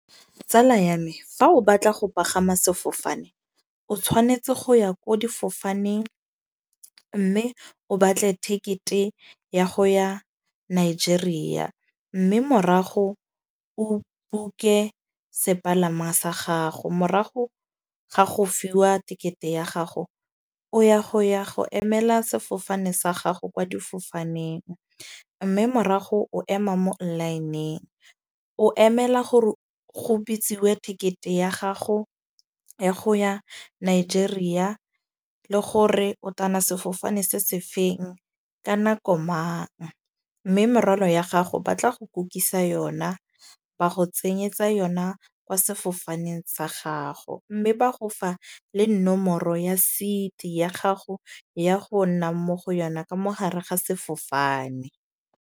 Tsala ya me fa o batla go pagama sefofane. O tshwanetse go ya ko difofaneng. Mme o batle ticket-e ya go ya Nigeria. Mme morago o book-e sepalama sa gago. Morago ga go fiwa tekete ya gago o ya go ya go emela sefofane sa gago kwa difofaneng. Mme morago o ema mo line-ng o emela gore go bitsiwe tekete ya gago, ya go ya Nigeria le gore o tana sefofane se se feng, ka nako mang. Mme morwalo ya gago ba tla go kukisa yona ba go tsenyetsa yona kwa sefofaneng sa gago. Mme ba gofa le nomoro ya seat ya gago, ya go nna mo go yona ka mogare ga sefofane.